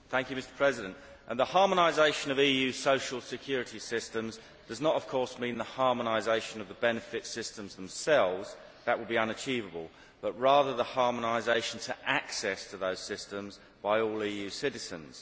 Mr President, the harmonisation of EU social security systems does not of course mean the harmonisation of the benefit systems themselves that would be unachievable but rather the harmonisation of access to those systems by all EU citizens.